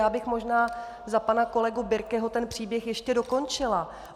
Já bych možná za pana kolegu Birkeho ten příběh ještě dokončila.